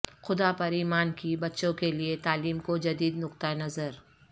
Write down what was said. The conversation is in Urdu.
خدا پر ایمان کی بچوں کے لیے تعلیم کو جدید نقطہ نظر